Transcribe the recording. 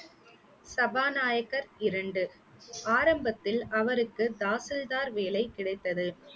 சபாநாயகர் இரண்டு, ஆரம்பத்தில் அவருக்கு தாசில்தார் வேலை கிடைத்தது